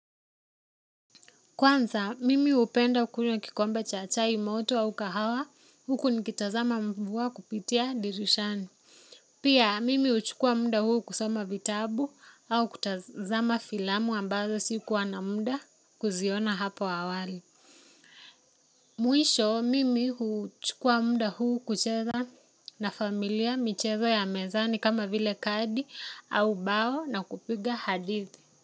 Kwanza, mimi hupenda kunywa kikombe cha chaimoto au kahawa, huku nikitazama mvua kupitia dirishani. Pia, mimi huchukua muda huu kusoma vitabu au kutazama filamu ambazo sikuwa na muda kuziona hapo awali. Mwisho, mimi huchukua muda huu kucheza na familia michezo ya mezani kama vile kadi au bao na kupiga hadithi.